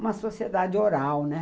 Uma sociedade oral, né?